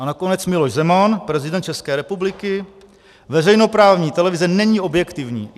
A nakonec Miloš Zeman, prezident České republiky: Veřejnoprávní televize není objektivní.